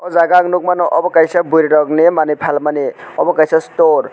o jaga ang nogmano obo kaisa bwri rok ni manui palmani obo kaisa store.